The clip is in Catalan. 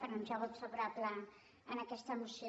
per anunciar el vot favorable en aquesta moció